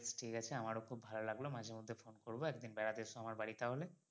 বেশ ঠিক আছে আমারো খুব ভালো লাগলো মাঝে মধ্যে ফোন করবো একদিন বেড়াতে এস আমার বাড়ি তাহলে